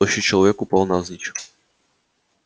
тощий человек упал навзничь